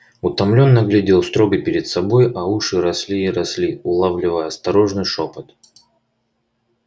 утомлённо глядел строго перед собой а уши росли и росли улавливая осторожный шёпот